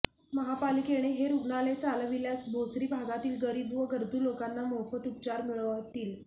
महापालिकेने हे रुग्णालय चालविल्यास भोसरी भागातील गरीब व गरजू लोकांना मोफत उपचार मिळतील